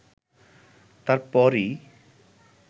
তার পরই